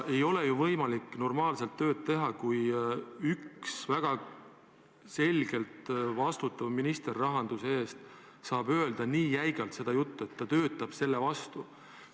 Ei ole ju võimalik normaalselt tööd teha, kui üks väga selgelt rahanduse eest vastutav minister saab nii jäigalt öelda, et ta töötab selle vastu.